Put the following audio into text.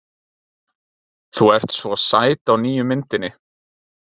Þú ert svo sæt á nýju myndinni.